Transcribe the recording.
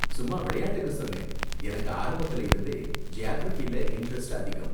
சும்மா விளையாட்டுக்கு சொன்னேன், எனக்கு ஆரம்பத்துல இருந்தே ஜியாகிரஃபில இண்டரெஸ்ட் அதிகம்.